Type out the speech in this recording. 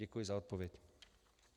Děkuji za odpověď.